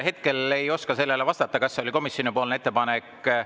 Hetkel ei oska sellele vastata, kas see oli komisjoni ettepanek.